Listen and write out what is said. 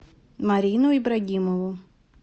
марину ибрагимову